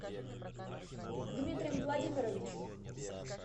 дмитрием владимировичем